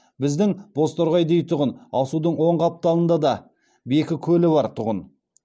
біздің бозторғай дейтұғын асудың оң қапталында да бекі көлі бар тұғын